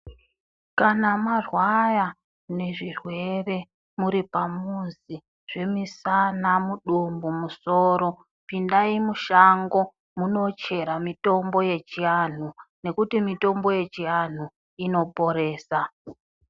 Kana marwara nezvirwere muri pamuzi zvemisana mudumbu musoro pindai mushango munochera mitombo yechianhu nekuti mitombo yechianhu inoporesa.